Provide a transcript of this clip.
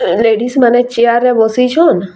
ଅଁ ଲେଡିଜ୍‌ ମାନେ ଚେୟାରରେ ବସିଛନ୍‌।